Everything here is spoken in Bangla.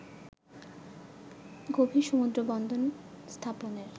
গভীর সমুদ্রবন্দর স্থাপনের